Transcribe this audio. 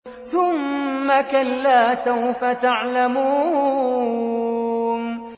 ثُمَّ كَلَّا سَوْفَ تَعْلَمُونَ